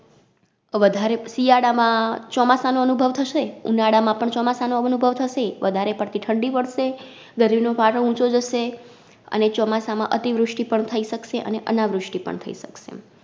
વધારે શિયાળામાં ચોમાસાનો અનુભવ થશે, ઉનાળામાં પણ ચોમાસાનો અનુભવ થશે, વધારે પડતી ઠંડી પડશે, ગરમીનો પારો ઊંચો જશે અને ચોમાસામાં અતિવૃષ્ટિ પણ થઈ શકશે અને અનાવૃષ્ટિ પણ થઈ શકશે